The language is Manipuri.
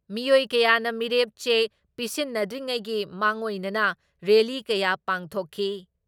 ꯃꯤꯑꯣꯏ ꯀꯌꯥꯅ ꯃꯤꯔꯦꯞ ꯆꯦ ꯄꯤꯁꯤꯟꯗ꯭ꯔꯤꯉꯩꯒꯤ ꯃꯥꯡꯑꯣꯏꯅꯅ ꯔꯦꯜꯂꯤ ꯀꯌꯥ ꯄꯥꯡꯊꯣꯛꯈꯤ ꯫